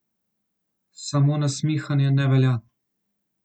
Samo nasmihanje ne velja.